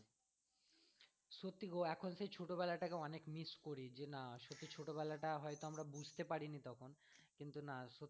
সত্যি গো এখন সেই ছোটবেলা টাকে অনেক miss করি যে না সত্যি ছোটবেলা টা হয়তো আমরা বুঝতে পারিনি তখন কিন্তু না